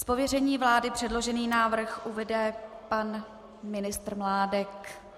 Z pověření vlády předložený návrh uvede pan ministr Mládek.